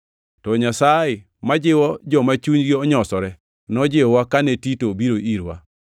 To Nyasaye, ma jiwo joma chunygi onyosore, nojiwowa kane Tito obiro irwa,